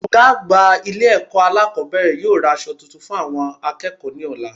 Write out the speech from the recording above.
Ògá àgbà obìnrin Ilé èkó alákòbéèrè yóò ra aso tuntun fún àwon akéèkó ní òla